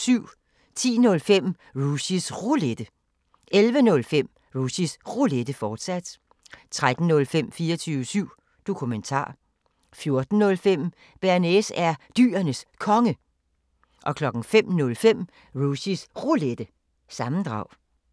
10:05: Rushys Roulette 11:05: Rushys Roulette, fortsat 13:05: 24syv Dokumentar 14:05: Bearnaise er Dyrenes Konge 05:05: Rushys Roulette – sammendrag